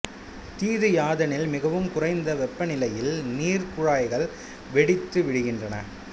தீது யாதெனில் மிகவும் குறைந்த வெப்பநிலையில் நீர் குழாய்கள் வெடித்து விடுகின்றன